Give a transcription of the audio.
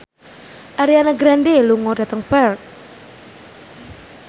Ariana Grande lunga dhateng Perth